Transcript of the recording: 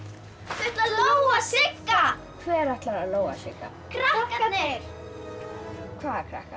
þau ætla að lóga Sigga hver ætlar að lóga Sigga krakkarnir hvaða krakkar